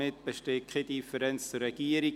Damit besteht keine Differenz mehr zur Regierung.